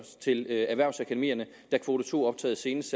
til erhvervsakademierne da kvote to optaget senest